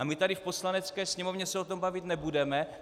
A my tady v Poslanecké sněmovně se o tom bavit nebudeme?